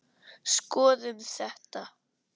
Skoðum þetta